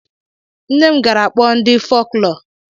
Nne m gara kpọọ ndị folklọ.